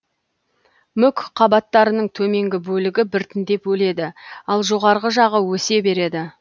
мүк қабаттарының төменгі бөлігі біртіндеп өледі ал жоғарғы жағы өсе береді